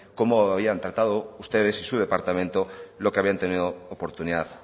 cómo había tratado ustedes y su departamento lo que habían tenido oportunidad